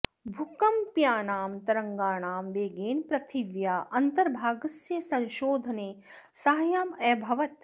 भूकम्पीयानां तरङ्गाणां वेगेन पृथिव्याः अन्तर्भागस्य संशोधने साहाय्यम् अभवत्